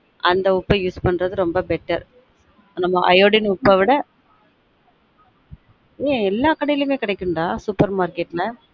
அந்த உப்ப use பண்றது ரொம்ப betteriodine உப்ப விட ஏய் எல்லா கடையுலமே கிடைக்கும் டா supermarket ல